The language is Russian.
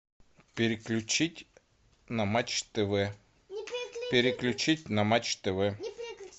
переключить на матч тв переключить на матч тв